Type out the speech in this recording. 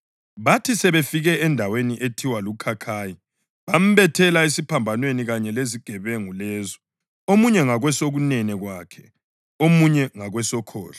Bathi sebefike endaweni ethiwa luKhakhayi bambethela esiphambanweni kanye lezigebenga lezo, omunye ngakwesokunene kwakhe, omunye ngakwesokhohlo.